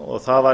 og það